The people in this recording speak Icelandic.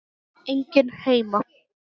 Enginn heima!